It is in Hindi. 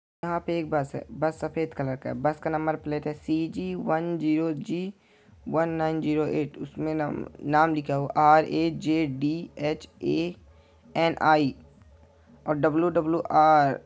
यहाँ पे एक बस है बस सफेद कलर का है बस का नंबर है सी जी वन जीरो जी वन नाइन जीरो एट उसमें नाम लिखा हुआ है आर_ए_जे_डी_एच_ए_एन_आई और डब्लू_डब्लू_आर ।